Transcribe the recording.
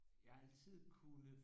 Jeg har altid kunne